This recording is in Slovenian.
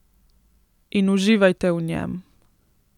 In uživajte v njem.